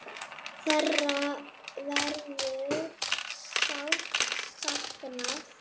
Þeirra verður sárt saknað.